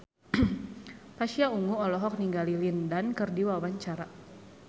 Pasha Ungu olohok ningali Lin Dan keur diwawancara